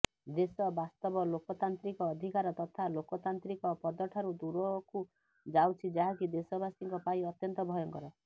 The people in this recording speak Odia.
ଦେଶ ବାସ୍ତବ ଲୋକତାନ୍ତ୍ରିକ ଅଧିକାର ତଥା ଲୋକତାନ୍ତ୍ରିକ ପଦଠାରୁ ଦୂରକୁ ଯାଉଛି ଯାହାକି ଦେଶବାସୀଙ୍କ ପାଇଁ ଅତ୍ୟନ୍ତ ଭୟଙ୍କର